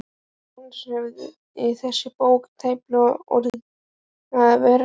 Án hans hefði þessi bók tæplega orðið að veruleika.